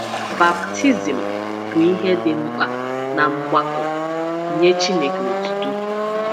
Baptizim bụ ihe dị mkpa ná mgbakọ “Nye Chineke Otuto.”